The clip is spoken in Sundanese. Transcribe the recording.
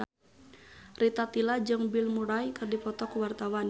Rita Tila jeung Bill Murray keur dipoto ku wartawan